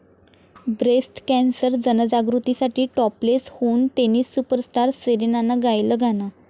breast cancer जनजागृतीसाठी topless होऊन tennis superstar सेरेनानं गायलं गाणं